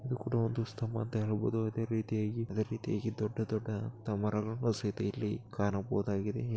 ಇದು ಕೂಡ ಒಂದು ಸ್ತಂಭ ಅಂತ ಹೇಳ್ಬೋದು ಅದೇರೀತಿಯಾಗಿ-ಅದೇರೀತಿಯಾಗಿ ದೊಡ್ಡ ದೊಡ್ಡ ಮರಗಳ್ ಸಹಿತ ಇಲ್ಲಿ ಕಾಣಬಹುದಾಗಿದೆ.